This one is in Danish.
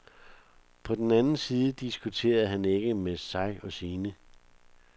På den anden side diskuterer han ikke med sig og sine.